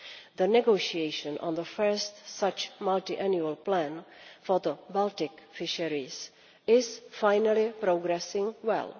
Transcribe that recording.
The negotiation on the first such multiannual plan for the Baltic fisheries is finally progressing well.